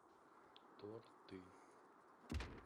торты